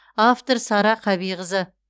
автор сара қабиқызы